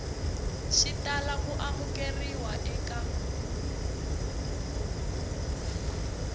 xi tala ku amukeriwa eka